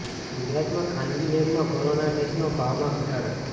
ગુજરાત માં ખાનગી લેબ માં કોરોના ટેસ્ટ ના ભાવ માં ઘટાડો